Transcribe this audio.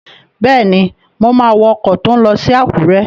Bẹ́ẹ̀ni, mo máa wọ ọkọ̀ tó n lọ sí Àkúrẹ́